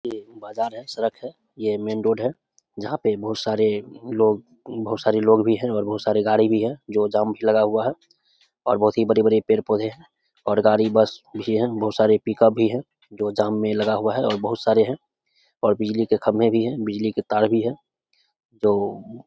ये बाजार है सड़क है ये मेन रोड है जहां पे बहुत सारे लोग बहुत सारे लोग भी है और बहुत सारे गाड़ी भी है जो जाम मे लगा हुआ है और बहुत ही बड़े-बड़े पेड़-पौधे है और गाड़ी बस भी हैबहुत सारे पिक-अप भी है जो जाम में लगा हुआ है और बहुत सारे है और बिजली के खंबे भी है और बिजली के तार भी है जो --